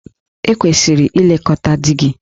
E kwesịrị ilekọta di gị.